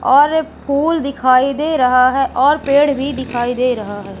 और एक पुल दिखाई दे रहा है और पेड़ भी दिखाई दे रहा है।